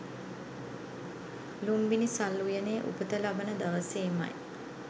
ලූම්බිණි සල් උයනේ උපත ලබන දවසේමයි